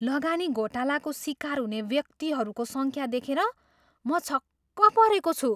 लगानी घोटालाको सिकार हुने व्यक्तिहरूको सङ्ख्या देखेर म छक्क परेको छु।